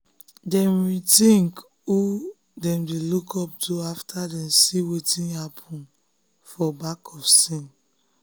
dem rethink who dem dey look up to after dem see wetin dey happen for back of scene.